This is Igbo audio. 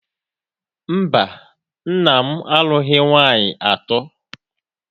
Mba, nna m alụghị nwaanyị atọ.